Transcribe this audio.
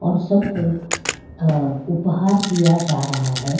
और सबको अ उपहार दिया जा रहा है।